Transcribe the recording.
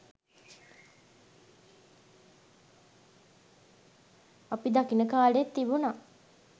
අපි දකින කාලෙත් තිබුන